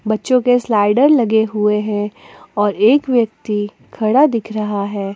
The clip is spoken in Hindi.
बच्चों के स्लाइडर लगे हुए हैं और एक व्यक्ति खड़ा दिख रहा है।